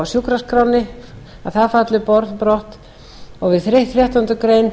lifir í fyrsta málsl falli brott fjórða við þrettándu grein